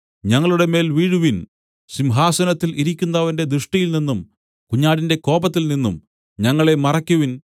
ഞങ്ങളുടെമേൽ വീഴുവിൻ സിംഹാസനത്തിൽ ഇരിക്കുന്നവന്റെ ദൃഷ്ടിയിൽനിന്നും കുഞ്ഞാടിന്റെ കോപത്തിൽ നിന്നും ഞങ്ങളെ മറയ്ക്കുവിൻ